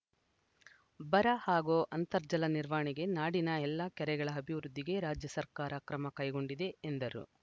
ಬರ ಹಾಗೂ ಅಂತರ್ಜಲ ನಿವಾರಣೆಗೆ ನಾಡಿನ ಎಲ್ಲ ಕೆರೆಗಳ ಅಭಿವೃದ್ಧಿಗೆ ರಾಜ್ಯ ಸರ್ಕಾರ ಕ್ರಮ ಕೈಗೊಂಡಿದೆ ಎಂದರು